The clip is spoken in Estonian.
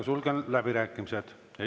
Sulgen läbirääkimised.